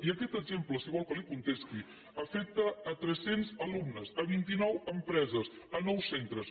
i aquest exemple si vol que li contesti afecta tres cents alumnes vint nou empreses nou centres